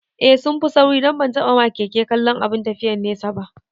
Eh sunfi sauri don ban taɓa ma keke kallon abin tafiyan nesa ba